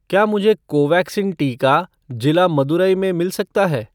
क्या मुझे कोवैक्सीन टीका जिला मदुरै में मिल सकता है?